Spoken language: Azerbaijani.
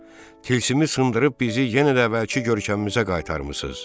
Tilsimi sındırıb bizi yenə də əvvəlki görkəmimizə qaytarmısınız.